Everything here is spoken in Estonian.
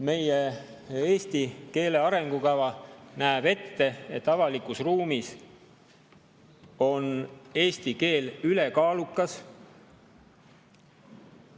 Meie eesti keele arengukava näeb ette, et avalikus ruumis on eesti keel ülekaalukas.